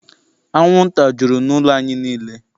Anwụnta jụrụ n'ụlọ anyị niile.